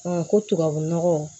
ko tubabu nɔgɔ